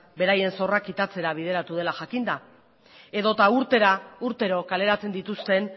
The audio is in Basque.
beraien zorra kitatzera bideratu dela jakinda edo eta urtero kaleratzen dituzten